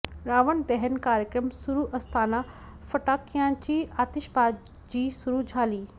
रावण दहन कार्यक्रम सुरू असताना फटाक्यांची आतिषबाजी सुरू झाली